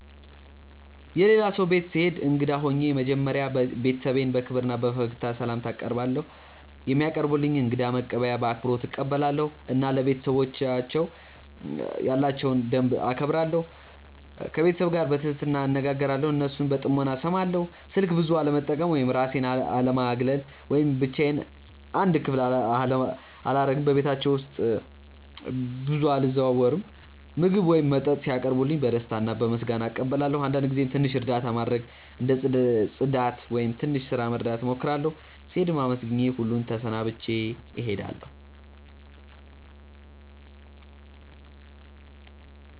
የሌላ ሰው ቤት ስሄድ እንግዳ ሆኜ መጀመሪያ ቤተሰቡን በክብር እና በፈገግታ ስላምታ አቀርባለው፧ የሚያቀርቡልኝን እንግዳ መቀበያ በአክብሮት እቀበላለሁ እና ለቤተሰባቸው ያላቸውን ደንብ እከብራለሁ። ከቤተሰቡ ጋር በትህትና እነጋገራለው እና እነሱን በጥሞና እስማለው። ስልክ ብዙ አለመጠቀም ወይም እራሴን አለማግለል ወይም ብቻዮን አንድ ክፍል አላረግም በቤታቸው ውስጥ ብዙ አልዘዋወርም። ምግብ ወይም መጠጥ ሲያቀርቡልኝ በደስታ እና በምስጋና እቀበላለው አንዳንድ ጊዜም ትንሽ እርዳታ ማድረግ እንደ ጽዳት ወይም ትንሽ ስራ መርዳት እሞክራለሁ። ስሄድም አመስግኜ ሁሉን ተሰናብቼ እሄዳለሁ።